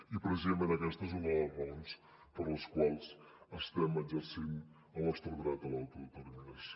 i precisament aquesta és una de les raons per les quals estem exercint el nostre dret a l’autodeterminació